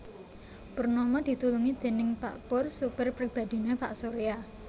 Purnama ditulungi déning pak Pur sopir pribadhiné pak Surya